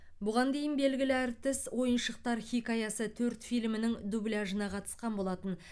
бұған дейін белгілі әртіс ойыншықтар хикаясы төрт фильмінің дубляжына қатысқан болатын